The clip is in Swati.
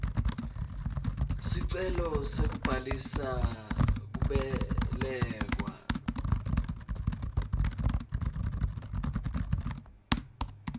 sicelo sekubhalisa kubelekwa